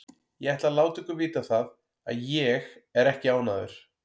Ég ætla að láta ykkur vita það að ÉG er ekki ánægður.